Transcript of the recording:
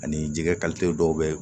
Ani jɛgɛ dɔw bɛ yen